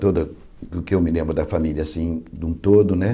toda do que eu me lembro da família assim, de um todo, né?